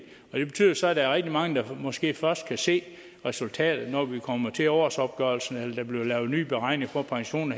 og det betyder så at der er rigtig mange der måske først kan se resultatet af at når vi kommer til årsopgørelsen eller der bliver lavet nye beregninger af pension